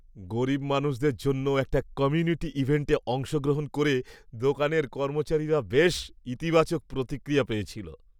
গরীব মানুষদের জন্য একটা কমিউনিটি ইভেন্টে অংশগ্রহণ করে দোকানের কর্মচারীরা বেশ ইতিবাচক প্রতিক্রিয়া পেয়েছিল।